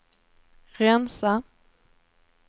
rensa